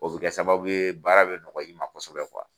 O bɛ kɛ sababu ye baara bɛ nɔgɔ ya i ma kosɛbɛ